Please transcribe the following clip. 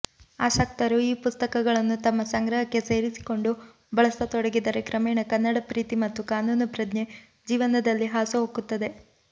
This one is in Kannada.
ಆಸಕ್ತರು ಈ ಪುಸ್ತಕಗಳನ್ನು ತಮ್ಮ ಸಂಗ್ರಹಕ್ಕೆ ಸೇರಿಸಿಕೊಂಡು ಬಳಸತೊಡಗಿದರೆ ಕ್ರಮೇಣ ಕನ್ನಡ ಪ್ರೀತಿ ಮತ್ತು ಕಾನೂನು ಪ್ರಜ್ಞೆ ಜೀವನದಲ್ಲಿ ಹಾಸುಹೊಕ್ಕುತ್ತದೆ